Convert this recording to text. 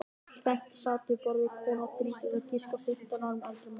Tvennt sat við borðið, kona um þrítugt og á að giska fimmtán árum eldri maður.